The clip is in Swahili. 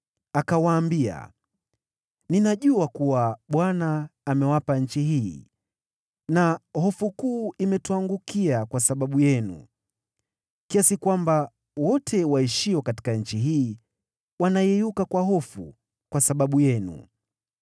akawaambia, “Ninajua kuwa Bwana amewapa nchi hii na hofu kuu imetuangukia kwa sababu yenu, kiasi kwamba wote waishio katika nchi hii wanayeyuka kwa hofu kwa sababu yenu.